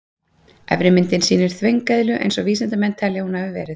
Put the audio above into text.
Efri myndin sýnir þvengeðlu eins og vísindamenn telja að hún hafi verið.